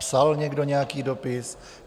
Psal někdo nějaký dopis?